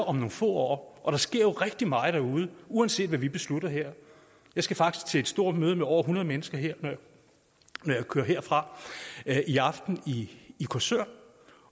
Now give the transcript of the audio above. om nogle få år der sker jo rigtig meget derude uanset hvad vi beslutter herinde jeg skal faktisk til et stort møde med over hundrede mennesker når jeg kører herfra i aften i korsør